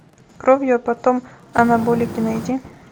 кровью и потом анаболики найди